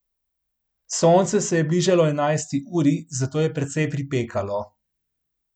Sonce se je bližalo enajsti uri, zato je precej pripekalo.